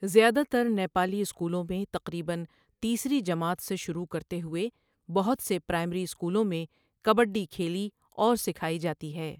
زیادہ تر نیپالی اسکولوں میں تقریباً تیسری جماعت سے شروع کرتے ہوئے بہت سے پرائمری اسکولوں میں کبڈی کھیلی اور سکھائی جاتی ہے۔